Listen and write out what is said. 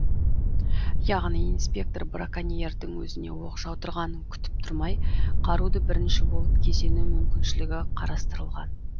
яғни инспектор браконьердің өзіне оқ жаудырғанын күтіп тұрмай қаруды бірінші болып кезену мүмкіншілігі қарастырылған